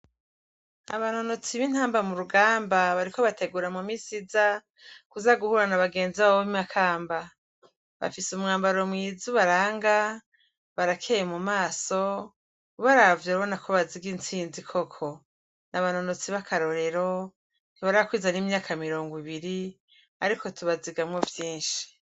Abanonotsi b'intamba mu rugamba bariko bategura mu misi iza kuza guhura n'abagenzi babo b'i Makamba, bafise umwambaro mwiza ubaranga barakeye mu maso ubaravye urabona ko baziga intsinzi koko, n'abanonotsi b'akarorero ntibarakwiza n'imyaka mirongo ibiri ariko tubazigamwo vyinshi.